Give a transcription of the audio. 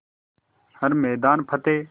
हर मैदान फ़तेह